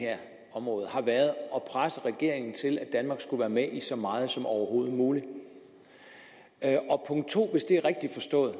område har været at presse regeringen til at danmark skulle være med i så meget som overhovedet muligt og punkt to hvis det er rigtigt forstået